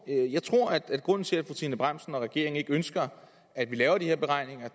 jeg tror at grunden til at fru trine bramsen og regeringen ikke ønsker at vi laver de her beregninger